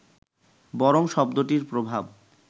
বরং শব্দটির প্রভাব